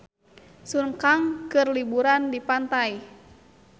Sun Kang keur liburan di pantai